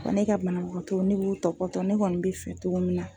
Ne ka banabagatɔw ne b'u tɔbɔtɔ ne kɔni bɛ fili togo min na.